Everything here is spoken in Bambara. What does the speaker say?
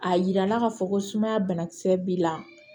A yirala ka fɔ ko sumaya bana kisɛ b'i la